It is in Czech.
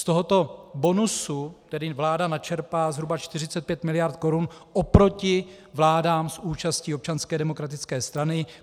Z tohoto bonusu tedy vláda načerpá zhruba 45 mld. korun oproti vládám s účastí Občanské demokratické strany.